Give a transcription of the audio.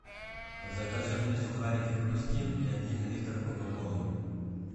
закажи мне сухарики хрустим и один литр кока колы